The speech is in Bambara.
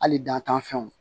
Hali dantanfɛnw